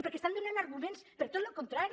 perquè estan donant arguments per a tot el contrari